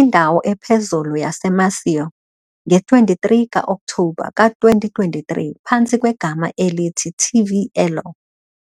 indawo ephezulu yaseMaceió, nge-23 ka-Okthobha ka-2023, phantsi kwegama elithi "TV Elo".